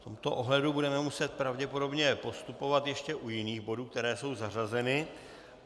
V tomto ohledu budeme muset pravděpodobně postupovat ještě u jiných bodů, které jsou zařazeny.